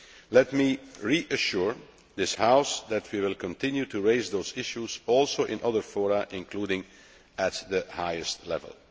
Let me reassure this House that we will also continue to raise those issues in other fora, including at the highest level.